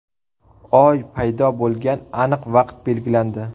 Oy paydo bo‘lgan aniq vaqt belgilandi.